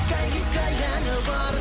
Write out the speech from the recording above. гиккәй гиккәй әні бар